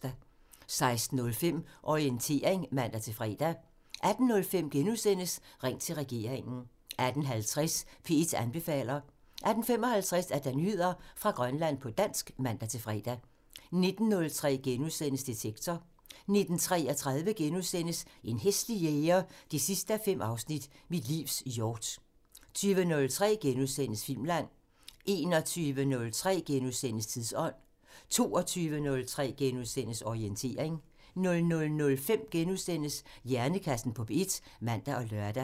16:05: Orientering (man-fre) 18:05: Ring til regeringen *(man) 18:50: P1 anbefaler (man-fre) 18:55: Nyheder fra Grønland på dansk (man-fre) 19:03: Detektor *(man) 19:33: En hæslig jæger 5:5 – Mit livs hjort * 20:03: Filmland *(man) 21:03: Tidsånd *(man) 22:03: Orientering *(man-fre) 00:05: Hjernekassen på P1 *(man og lør)